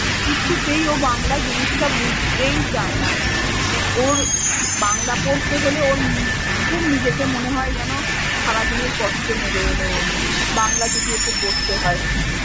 কিছুতেই ও বাংলা জিনিসটা বুঝতেই চায় না। মানে ওর বাংলা পড়তে হলে, ওর খ~ খুব নিজেকে মনে হয় যেন সারাদিনের কষ্ট নেবে এলো ওর। বাংলা যদি ওকে পড়তে হয়।